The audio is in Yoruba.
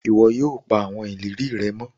iwọ yóò pa awọn ìlérí rẹ mọ